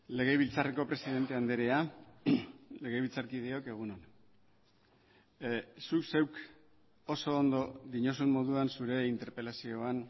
legebiltzarreko presidente andrea legebiltzarkideok egun on zuk zeuk oso ondo diozun moduan zure interpelazioan